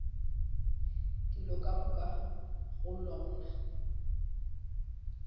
dilo ka moka go lona